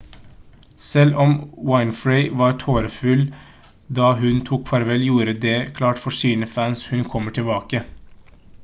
selv om winfrey var tårefull da hun tok farvel gjorde hun det klart for sine fans hun kommer tilbake